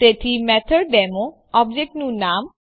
તેથી મેથોડેમો ઓબ્જેક્ટનું નામ